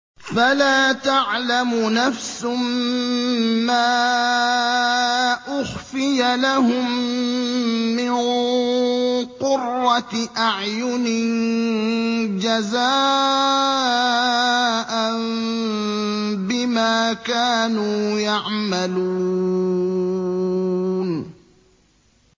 فَلَا تَعْلَمُ نَفْسٌ مَّا أُخْفِيَ لَهُم مِّن قُرَّةِ أَعْيُنٍ جَزَاءً بِمَا كَانُوا يَعْمَلُونَ